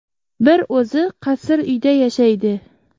Bir o‘zi qasr uyda yashaydi.